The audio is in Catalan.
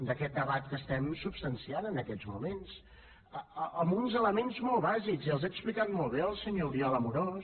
d’aquest debat que estem substanciant en aquests moments amb uns elements molt bàsics i els ha explicat molt bé el senyor oriol amorós